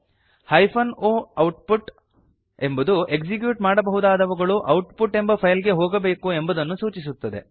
hyphen o output ಎಂಬುದು execute ಮಾಡಬಹುದಾದವುಗಳು output ಎಂಬ ಫೈಲ್ ಗೆ ಹೋಗಬೇಕು ಎಂಬುದನ್ನು ಸೂಚಿಸುತ್ತದೆ